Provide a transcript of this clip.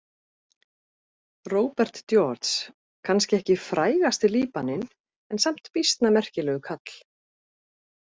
Robert George: Kannski ekki frægasti Líbaninn, en samt býsna merkilegur kall.